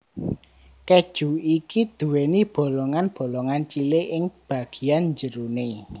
Keju iki duwéni bolongan bolongan cilik ing bagian jeroné